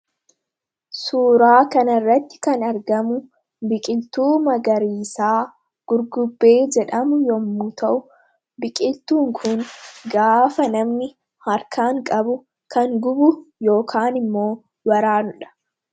Suuraa kanarratti kan argamu biqiltuu magariisaa gurgubbee jedhamu yommu ta'u biqiltuun kun gaafa namni harkaan qabu kan gubu yookan immoo waraanudha.